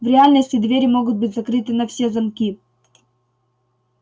в реальности двери могут быть закрыты на все замки